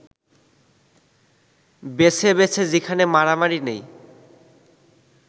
বেছে বেছে যেখানে মারামারি নেই